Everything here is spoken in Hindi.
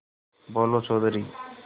बोलो चौधरी